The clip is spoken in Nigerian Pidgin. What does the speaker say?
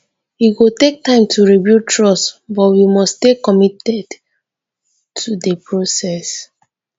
e go take time to rebuild trust but we must stay committed to the process.